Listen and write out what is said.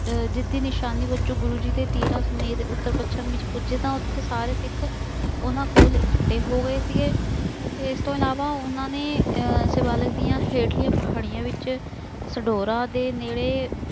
ਜਿੱਤ ਦੀ ਨਿਸ਼ਾਨੀ ਵਜੋਂ ਗੁਰੂ ਜੀ ਦੇ ਤੀਰਾਂ ਸਮੇਤ ਉੱਤਰ ਪੱਛਮ ਵਿੱਚ ਪੁੱਜੇ ਤਾਂ ਉੱਥੇ ਸਾਰੇ ਸਿੱਖ ਉਹਨਾ ਕੋਲ ਇਕੱਠੇ ਹੋ ਗਏ ਸੀਗੇ। ਇਸ ਤੋਂ ਇਲਾਵਾ ਉਹਨਾ ਨੇ ਅਹ ਸ਼ਿਵਾਲਿਕ ਦੀਆਂ ਹੇਠਲੀਆਂ ਪਹਾੜੀਆਂ ਵਿੱਚ ਛਡੋਰਾ ਦੇ ਨੇੜੇ